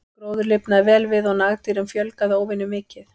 Gróður lifnaði vel við og nagdýrum fjölgaði óvenju mikið.